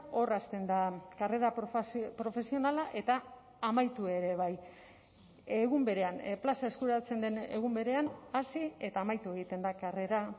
hor hasten da karrera profesionala eta amaitu ere bai egun berean plaza eskuratzen den egun berean hasi eta amaitu egiten da karrera